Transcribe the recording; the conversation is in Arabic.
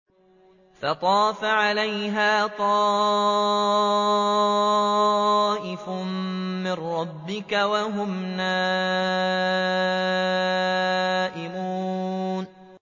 فَطَافَ عَلَيْهَا طَائِفٌ مِّن رَّبِّكَ وَهُمْ نَائِمُونَ